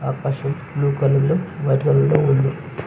ఆకాశం blue colour లో white colour లో ఉంది.